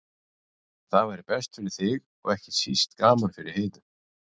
Það væri best fyrir þig og ekki síst gaman fyrir Heiðu.